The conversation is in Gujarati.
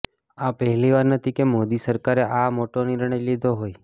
આ પહેલી વાર નથી કે મોદી સરકારે આ મોટો નિર્ણય લીધો હોય